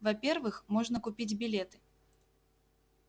во-первых можно купить билеты